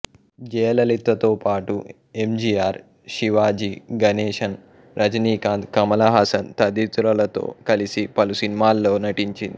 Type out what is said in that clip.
జయలలితతో పాటు ఎంజీఆర్ శివాజీ గణేశన్ రజనీకాంత్ కమల్ హాసన్ తదితరులతో కలసి పలు సినిమాల్లో నటించాడు